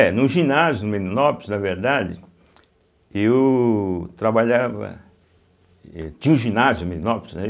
É, no ginásio, no Meninópolis, na verdade, eu trabalhava êh tinha um ginásio no Meninópolis, né.